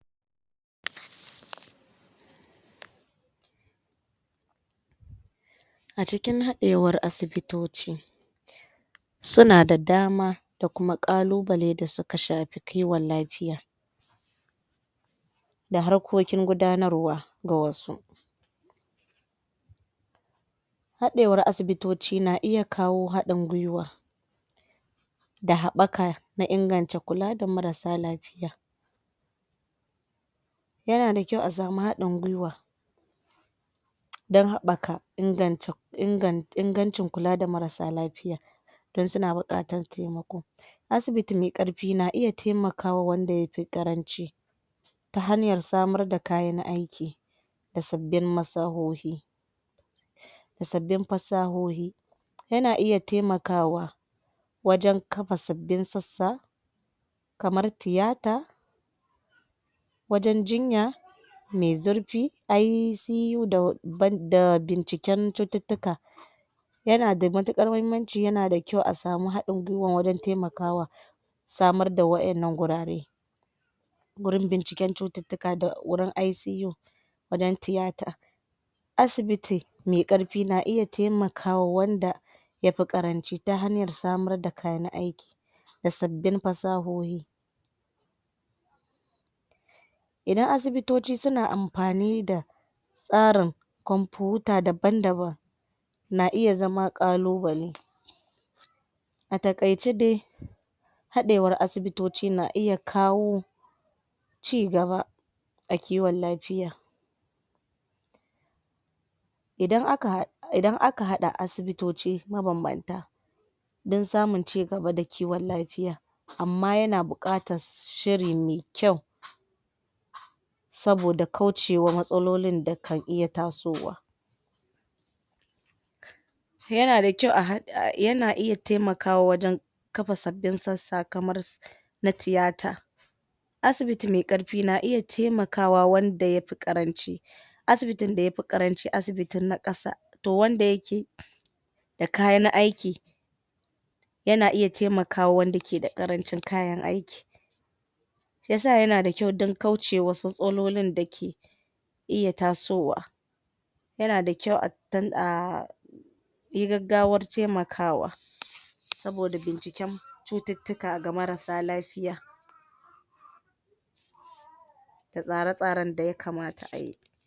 ? A cikin haɗewar asibitoci suna da damar da kuma ƙalubale da suka shafi kiwon lafiya da harkokin gudanarwa ga wasu haɗewar asibitoci na iya kawo haɗin guiwa da haɓaka na inganca kula da marasa lafiya yana da kyau a samu haɗin guiwa don haɓaka inganta inagan ingancin kula da marasa lafiya don suna buƙatar taimako asibiti me ƙarfi na iya taimakawa wanda ya fi ƙaranci ta hanyar samar da kayan aiki da sabbin masahohi da sabbin fasahohi yana iya taimakawa wajen kafa sabbin sassa kamar tiyata wajen yinya me zurfi ICU da b binciken cututtuka yana da mutuƙar muhimanci yana da kyau a samu haɗin guiwa wajen taimakawa samar da wa'yannan gurare wurin binciken cututtuka da wurin ICU wajen tiyata asibiti me ƙarfi na iya taimakaa wanda ya fi ƙaranci ta hanyar samar da kayan aiki da sabbin fasahohi idan asibito suna amfani da tsarin Kwamfuta daban-daban na iya zama ƙalubale a taƙaice dai haɗewar asibitoci na iya kawo ci gaba a kiwon lafiya idan aka idan aka haɗa asibitoci mabambanta don samun ci gada da kiwon lafiya amma yana buƙatar shiri me kyau saboda kaucewa matsalolin da kan iya tasowa yana da kya a haɗ yana iya taimawaka wajen kafa sabbin sassa kamar na tiyata asibiti me ƙarfi na iya taimakawa wanda ya fi ƙaranci asibitin da ya fi ƙaranci asibiti na ƙasa to wanda yake da kayan aiki yana iya taimakawa wanda ke da ƙarancin kayan aiki shi ya sa yana da kyau don kaucewa wasu tsololin dake iya tasowa yana da kyau? yi gaggawar taimakawa saboda binciken cututtuka ga marasa lafiya da tsare-tsaren da ya kamata a yi